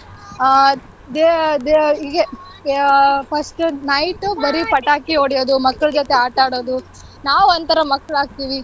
ಆಹ್ ದೆ~ ದೆ~ ಹೀಗೆ ಯ~ first night ಬರಿ ಪಟಾಕಿ ಹೊಡಿಯೋದು ಮಕ್ಳ ಜೊತೆ ಆಟ ಆಡೋದು ನಾವೊಂಥರ ಮಕ್ಳ್ ಆಗ್ತಿವಿ.